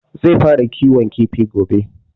Zai fara kiwon kifi gobe